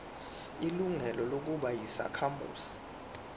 ilungelo lokuba yisakhamuzi